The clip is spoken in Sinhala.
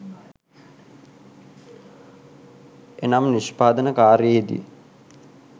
එනම් නිෂ්පාදන කාර්යයේ දී